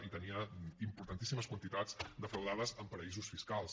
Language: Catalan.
i tenia importantíssimes quantitats defraudades en paradisos fiscals